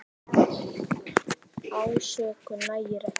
Ásökun nægir ekki.